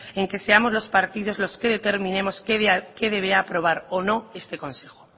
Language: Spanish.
en que seamos los partidos los que determinemos qué debe de aprobar o no este consejo